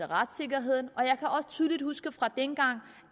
retssikkerheden og jeg kan også tydeligt huske fra dengang